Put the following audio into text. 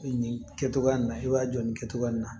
Nin kɛcogoya nin i b'a jɔ nin kɛcogoya in na